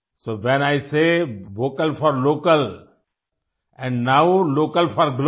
so when I say vocal for local and now local for global